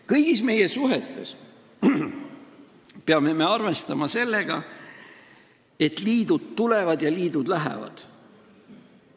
Kõigis oma suhetes peame me arvestama sellega, et liidud tulevad ja liidud lähevad.